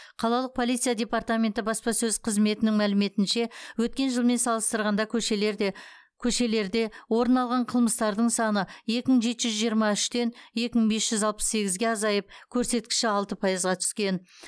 қалалық полиция департаменті баспасөз қызметінің мәліметінше өткен жылмен салыстырғанда көшелерде көшелерде орын алған қылмыстардың саны екі мың жеті жүз жиырма үштен екі мың бес жүз алпыс сегізге азайып көрсеткіші алты пайызға түскен